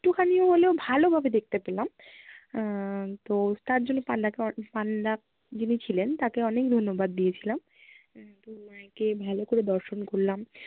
একটুখানি হলেও ভালোভাবে দেখতে পেলাম আহ তো তার জন্য পান্ডা কে অ~ পান্ডা যিনি ছিলেন তাকে অনেক ধন্যবাদ দিয়েছিলাম। আহ তো মা কে ভালো করে দর্শন করলাম